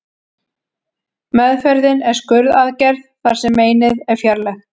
Meðferðin er skurðaðgerð þar sem meinið er fjarlægt.